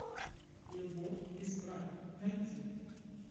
любовь без правил найти